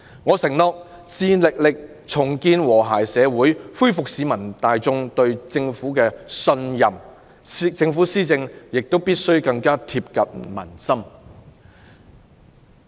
我承諾致力重建和諧社會，恢復市民大眾對政府的信任，政府施政亦必須更貼近民心。